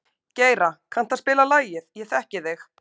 Geira, kanntu að spila lagið „Ég þekki þig“?